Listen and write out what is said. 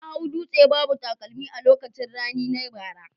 Na hau dutse babu takalmi a lokacin rani na bara